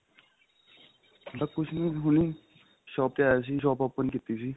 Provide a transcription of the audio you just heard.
ਬੱਸ ਕੁੱਝ ਨੀਂ ਹੁਣੀ shop ਤੇ ਆਇਆ ਸੀ shop open ਕੀਤੀ ਸੀ